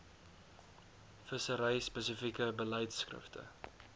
vissery spesifieke beleidskrifte